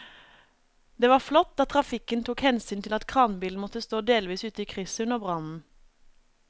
Det var flott at trafikken tok hensyn til at kranbilen måtte stå delvis ute i krysset under brannen.